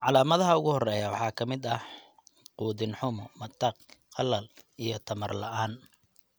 Calaamadaha ugu horreeya waxaa ka mid ah quudin xumo, matag, qalal, iyo tamar la'aan (dhaleecnimo).